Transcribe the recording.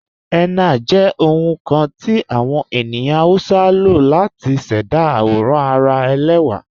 Henna jẹ ohun kan ti awọn ènìyàn Hausa ló látì ṣẹda awòràn ara èlẹwa.